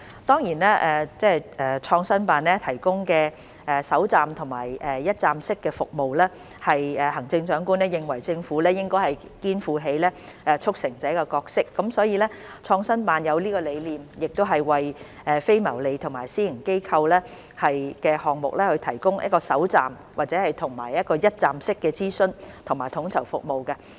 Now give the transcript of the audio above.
當然，創新辦提供首站及一站式服務，是行政長官認為政府應該肩負起促成者的角色，所以創新辦才有這個理念，為非牟利和私營機構的項目提供首站及一站式的諮詢和統籌服務。